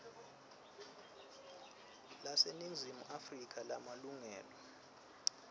laseningizimu afrika lemalungelo